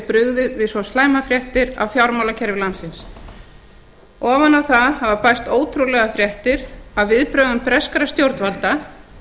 brugðið við svo slæmar fréttir af fjármálakerfi landsins ofan á það hafa bæst ótrúlegar fréttir af viðbrögðum breskra stjórnvalda